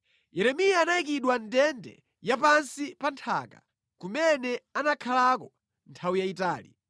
Yeremiya anayikidwa mʼndende ya pansi pa nthaka, kumene anakhalako nthawi yayitali.